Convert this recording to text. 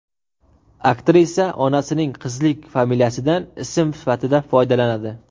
Aktrisa onasining qizlik familiyasidan ism sifatida foydalanadi.